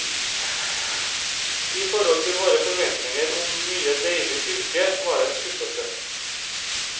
I forhold til våre forventninger om mye deilig silke, var det en skuffelse.